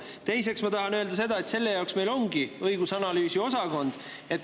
Teiseks, ma tahan öelda seda, et selle jaoks meil ongi õigus- ja analüüsiosakond.